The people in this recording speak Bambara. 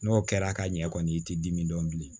N'o kɛra ka ɲɛ kɔni i t'i dimi dɔn bilen